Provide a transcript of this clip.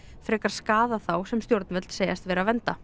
frekar skaðað þá sem stjórnvöld segjast vera að vernda